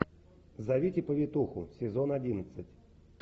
зовите повитуху сезон одиннадцать